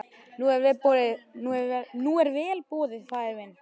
Nú er vel boðið faðir minn.